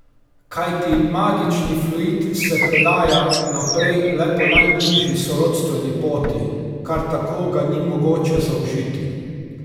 Kajti magični fluid se predaja naprej le po najbližji sorodstveni poti, kar tako ga ni mogoče zaužiti.